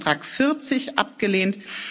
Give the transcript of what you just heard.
Änderungsantrag 40 abgelehnt